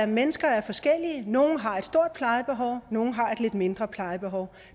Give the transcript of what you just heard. mennesker er forskellige nogle har et stort plejebehov og nogle har et lidt mindre plejebehov